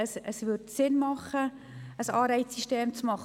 Es wäre sinnvoll, ein Anreizsystem einzuführen.